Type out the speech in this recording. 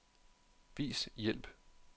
Vis hjælp.